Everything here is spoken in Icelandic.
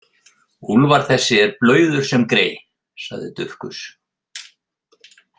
Úlfar þessi er blauður sem grey, sagði Dufgus.